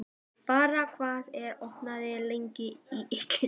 Dara, hvað er opið lengi í IKEA?